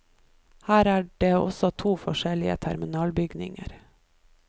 Her er det også to forskjellige terminalbygninger.